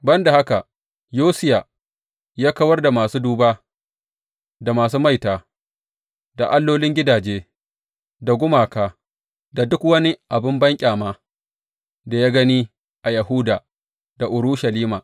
Ban da haka, Yosiya ya kawar da masu duba, da masu maita, da allolin gidaje, da gumaka, da duk wani abin banƙyaman da ya gani a Yahuda da Urushalima.